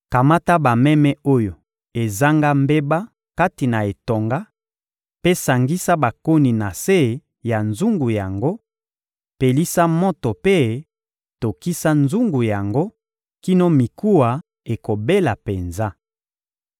Kamata bameme oyo ezanga mbeba kati na etonga mpe sangisa bakoni na se ya nzungu yango; pelisa moto mpe tokisa nzungu yango kino mikuwa ekobela penza!